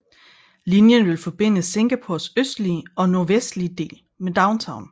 Linjen vil forbinde Singapores østlige og nordvestlige dele med Downtown